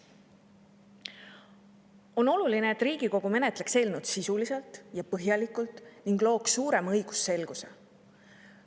On oluline, et Riigikogu menetleks eelnõu sisuliselt ja põhjalikult ning looks suurema õigusselguse.